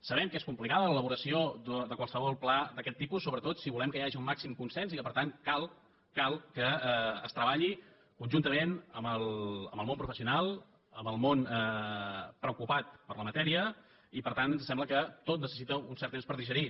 sabem que és complicada l’elaboració de qualsevol pla d’aquest tipus sobretot si volem que hi hagi el màxim consens i que per tant cal que es treballi conjuntament amb el món professional amb el món preocupat per la matèria i per tant ens sembla que tot necessita un cert temps per digerir